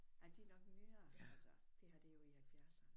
Nej de er nok nyere altså det her det er jo i halvfjerdserne